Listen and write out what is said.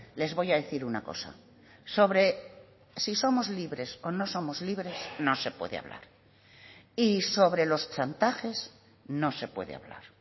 les voy a decir una cosa sobre si somos libres o no somos libres no se puede hablar y sobre los chantajes no se puede hablar